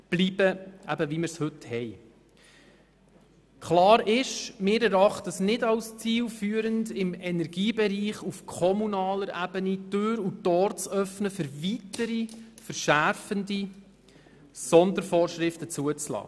Wir erachten es nicht als zielführend, im Energiebereich auf kommunaler Ebene weiteren verschärfenden Sondervorschriften Tür und Tor zu öffnen.